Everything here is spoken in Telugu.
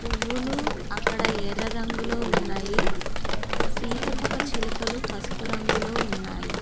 పువ్వులు అక్కడ ఎర్ర రంగులో ఉన్నాయి సీతకొక చిలుకలు పసుపు రంగులో ఉన్నాయి.